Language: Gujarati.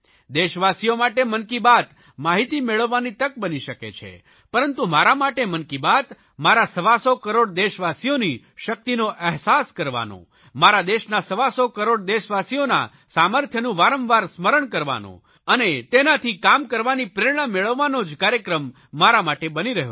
દેશવાસીઓ માટે મન કી બાત માહિતી મેળવવાની તક બની શકે છે પરંતુ મન કી બાત મારા સવાસો કરોડ દેશવાસીઓની શકિતનો અહેસાસ કરવાનો મારા દેશના સવાસો કરોડ દેશવાસીઓના સામર્થ્યનું વારંવાર સ્મરણ કરવાનો અને તેનાથી કામ કરવાની પ્રેરણા મેળવવાનો જ કાર્યક્રમ મારા માટે બની રહ્યો છે